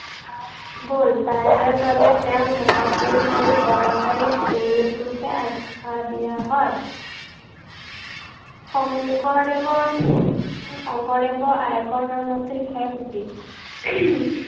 গল তাৰ বাবে তেওঁক মহাপুৰুষ আৰু অৱতাৰী পুৰুষ ৰূপে আখ্য়া দিয়া হয়। শংকৰদেৱৰ, শংকৰদেৱৰ আয়েকৰ নাম আছিল খেৰসুতি।